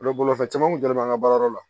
Olu bolifɛn caman kun dalen b'an ka baarayɔrɔ la